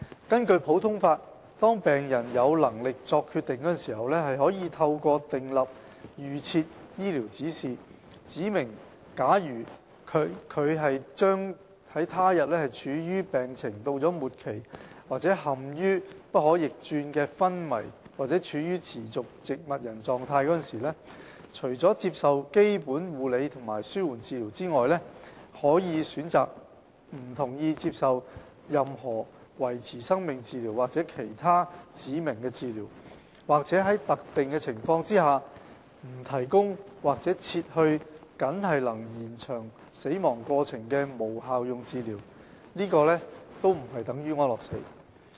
根據普通法，當病人有能力作決定的時候，可透過訂立預設醫療指示，指明假如他處於病情到了末期或陷於不可逆轉的昏迷或處於持續植物人狀況時，除了接受基本護理和紓緩治療外，他可以選擇不同意接受任何維持生命治療或其他指明的治療，或在特定情況下不提供或撤去僅能延長死亡過程的無效用治療，這並非等於安樂死。